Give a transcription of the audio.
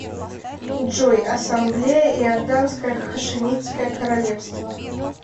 джой ассамблея иорданское хашимитское королевство